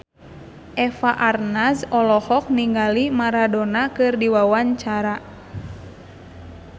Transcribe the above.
Eva Arnaz olohok ningali Maradona keur diwawancara